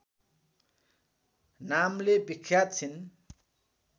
नामले विख्यात छिन्